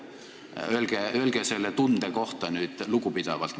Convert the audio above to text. Öelge nüüd selle tunde kohta midagi lugupidavalt.